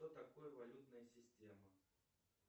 что такое валютная система